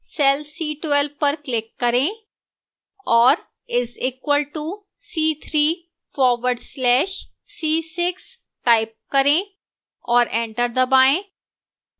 cell c12 पर click करें और is equal to c3 forward slash c6 type करें और enter दबाएं